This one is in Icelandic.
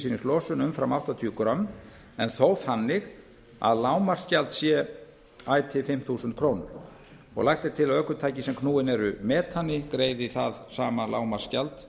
af koltvísýringslosun umfram áttatíu grömm en þó þannig að lágmarksgjald sé ætíð fimm þúsund krónur lagt er til að ökutæki sem knúin eru metani greiði það sama lágmarksgjald